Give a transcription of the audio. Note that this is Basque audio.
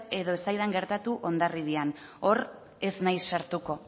edo ez zaidan gertatu hondarribian hor ez naiz sartuko